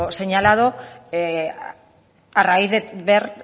señalado a raíz de ver